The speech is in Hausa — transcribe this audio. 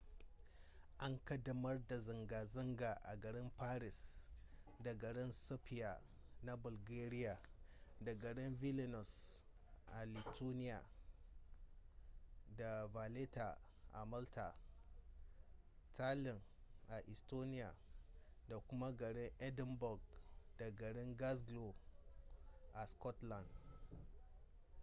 an kaddamar da zanga-zanga a garin paris da garin sofia na bulgaria da garin vilinius a lithuania da valetta a malta tallinn a estonia da kuma garin edinburgh da garin glasgow a scotland